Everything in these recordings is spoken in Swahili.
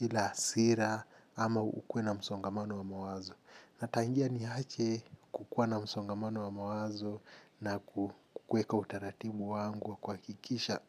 ile hasira ama ukuwe na msongamano wa mawazo. Na tangia niache kuwa na msongamano wa mawazo na kuweka utaratibu yangu, kuhakikisha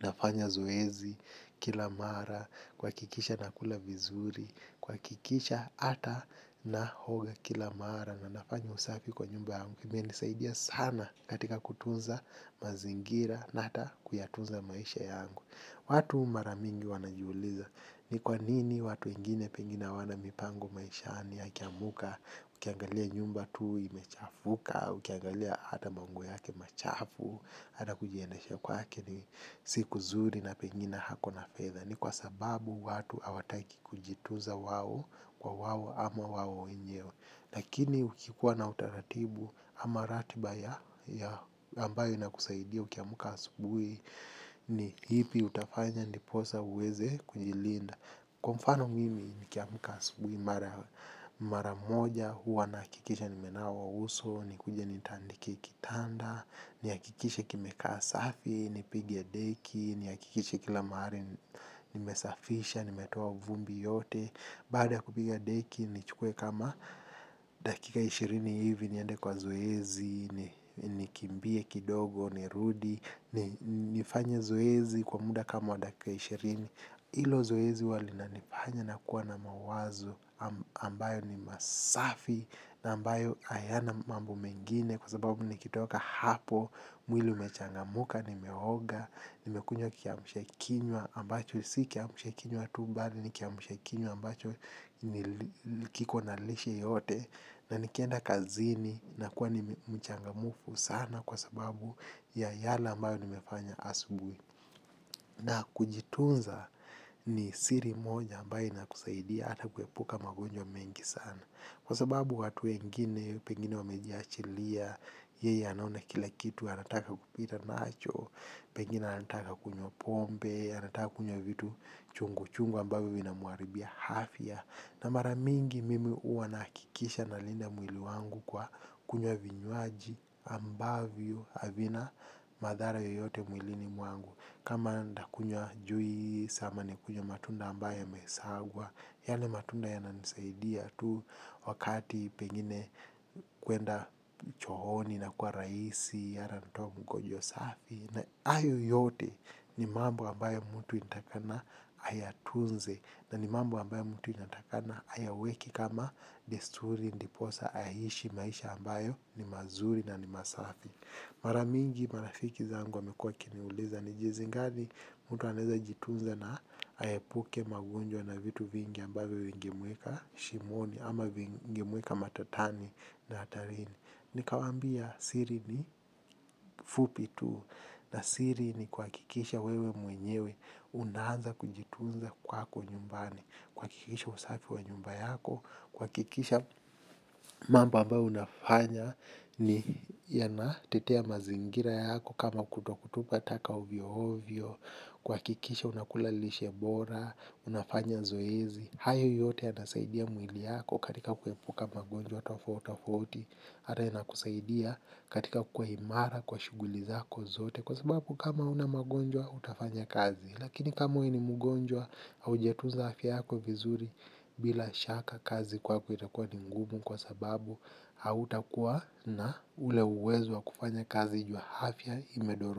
nafanya zoezi kila mara, kuhakikisha nakula vizuri, kuhakikisha hata naoga kila mara na nafanya usafi kwa nyumba yangu. Imenisaidia sana katika kutunza mazingira na hata kuyatunza maisha yangu. Watu mara mingi wanajiuliza ni kwa nini watu wengine pengina hawana mipango maishani akiamuka, ukiangalia nyumba tu imechafuka, ukiangalia hata manguo yake machafu, hata kujiendesha kwake ni si kuzuri na pengine ako na fedha. Ni kwa sababu watu hawataki kujituza wawo kwa wawo ama wawo wenyewe. Lakini ukikuwa na utaratibu ama ratiba ya ambayo inakusaidia ukiamuka asubuhi ni lipi utafanya ndiposa uweze kujilinda. Kwa mfano mimi nikiamuka asubuhi mara moja huwa nahakikisha nimenawa uso, nikuje nitandike kitanda, nihakikishe kimekaa safi, nipige deki, nihakikishe kila mahali nimesafisha, nimetoa vumbi yote. Baada ya kupiga deki nichukue kama dakika ishirini hivi niende kwa zoezi nikimbie kidogo nirudi. Nifanye zoezi kwa muda kama wa dakika ishirini. Hilo zoezi huwa linanifanya nakuwa na mawazo ambayo ni masafi na ambayo hayana mambo mengine kwa sababu nikitoka hapo, mwili umechangamuka, nimeoga, nimekunywa kiamshakinywa ambacho, si kiamshakinywa tu bali, ni kiamshakinywa ambacho kiko na lishe yote, na nikienda kazini nakuwa ni mchangamufu sana kwa sababu ya yale ambayo nimefanya asubuhi. Na kujitunza ni siri moja ambayo inakusaidia hata kuepuka magonjwa mengi sana. Kwa sababu watu wengine, pengine wamejiachilia, yeye anaona kila kitu, anataka kupita nacho, pengine anataka kunywa pombe, anataka kunywa vitu chungu chungu ambavyo vinamuharibia afya. Na mara mingi mimi huwa nahakikisha nalinda mwili wangu kwa kunywa vinywaji ambavyo havina madhara yoyote mwilini wangu. Kama nitakunywa juisi ma nikunywe matunda ambayo yamesagwa, yale matunda yananisaidia tu wakati pengine kwenda chooni inakuwa rahisi, hata kutoa mkojo safi. Na hayo yote ni mambo ambayo mtu inatakikana ayatunze na ni mambo ambayo mtu anatakikana ayaweke kama desturi ndiposa aishi maisha ambayo ni mazuri na ni masafi. Mara mingi marafiki zangu wamekua wakiniuliza ni jinsi gani mtu anaeza jitunza na aepuke magonjwa na vitu vingi ambavyo vingemuweka shimoni ama vingimuweka matatani na hatarini. Nikawambia siri ni fupi tu na siri ni kuhakikisha wewe mwenyewe unaanza kujitunza kwako nyumbani, kuhakikisha usafi wa nyumba yako, kuhakikisha mambo ambayo unayafanya yanatetea mazingira yako kama kutotupa taka ovyo ovyo, kuhakikisha unakula lishe bora, unafanya zoezi. Hayo yote yatasaidia mwili yako katika kuepuka magonjwa tofautofauti hata inakusaidia katika kuwa imara kwa shughuli zako zote kwa sababu kama una magonjwa hutafanya kazi. Lakini kama wewe ni mgonjwa hujatunza afiya yako vizuri bila shaka kazi kwako itakuwa ni ngumu kwa sababu hautakuwa na ule uwezo wa kufanya kazi na afya imedorora.